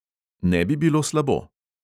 Ne bi bilo slabo!